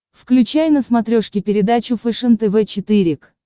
включай на смотрешке передачу фэшен тв четыре к